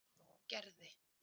Gerði